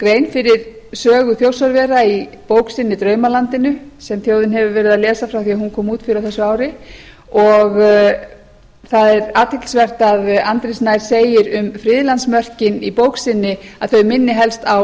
grein fyrir sögu þjórsárvera í bók sinni draumalandinu sem þjóðin hefur verið að lesa frá því að hún kom út fyrr á þessu ári og það er athyglisvert að andri snær segir um friðlandsmörkin í bók sinni að þau minni helst á